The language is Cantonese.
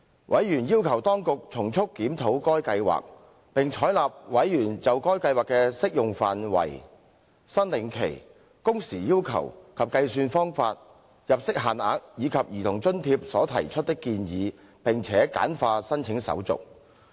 委員要求當局從速檢討該計劃，並採納委員就該計劃的適用範圍、申領期、工時要求及計算方法、入息限額，以及兒童津貼所提出的建議，並且簡化申請手續。